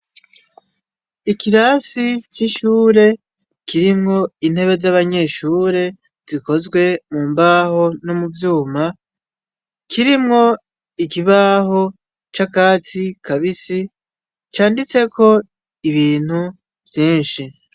Ikirasi c'ishure kirimwo intebe z'abanyeshure zikozwe mu mbaho no mu vyuma, kirimwo ikibaho c'akatsi kabisi, canditseko ibintu vyinshi.